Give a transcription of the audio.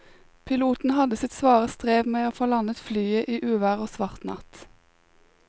Piloten hadde sitt svare strev med å få landet flyet i uvær og svart natt.